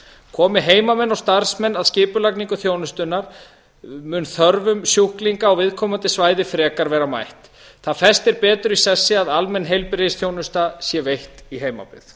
komi heimamenn og starfsmenn að skipulagningu þjónustunnar mun þörfum sjúklinga á viðkomandi svæði frekar vera mætt það festir betur í sessi að almenn heilbrigðisþjónusta sé veitt í heimabyggð